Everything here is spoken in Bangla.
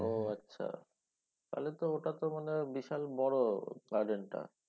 ও আচ্ছা। তাহলে তো ওটা তো মানে বিশাল বড় garden টা